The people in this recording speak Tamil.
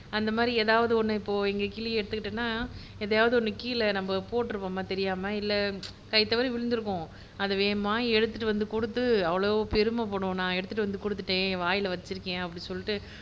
அந்த மாதிரி ஏதாவது ஒண்ணு இப்போ எங்க கிளியை எடுத்துகிட்டோம்னா எதையாவது ஒன்னை கீழ நம்ம போட்டுறுவோம் தெரியாம இல்ல கை தவறி விழுந்துருக்கும் அதை வேகமா எடுத்துட்டு வந்து குடுத்து அவ்வளவு பெருமை படும் நான் எடுத்துட்டு வந்து குடுத்துட்டேன் வாய்ல வச்சிருக்கேன் அப்படி சொல்லிட்டு